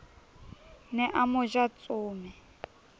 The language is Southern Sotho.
ne a mo ja tsome